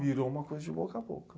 Virou uma coisa de boca a boca.